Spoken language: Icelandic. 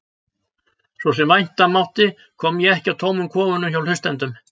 Svo sem vænta mátti kom ég ekki að tómum kofunum hjá hlustendum.